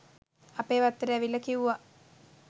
අපේ වත්තට ඇවිල්ලා කිව්වා